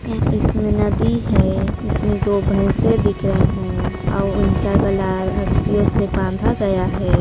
इसमे नदी है इसमे दो भैसे दिख रहे हैं और इनका गला रस्सियों से बांधा गया है।